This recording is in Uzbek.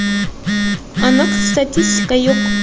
Aniq statistika yo‘q.